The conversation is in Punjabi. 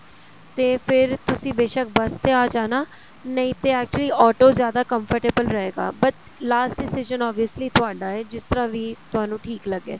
ਤੇ ਫੇਰ ਤੁਸੀਂ ਬੇਸ਼ਕ bus ਤੇ ਆ ਜਾਣਾ ਨਹੀਂ ਤੇ actually autos ਜਿਆਦਾ comfortable ਰਹੇਗਾ but last decision obviously ਤੁਹਾਡਾ ਏ ਜਿਸ ਤਰ੍ਹਾਂ ਵੀ ਤੁਹਾਨੂੰ ਠੀਕ ਲੱਗੇ